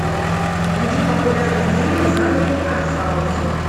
найди популярные фильмы в жанре арт хаус